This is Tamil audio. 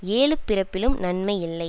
ஏழுப் பிறப்பிலும் நன்மை இல்லை